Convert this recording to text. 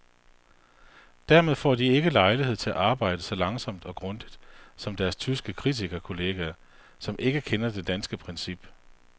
Dermed får de ikke lejlighed til at arbejde så langsomt og grundigt som deres tyske kritikerkolleger, som ikke kender til det danske princip.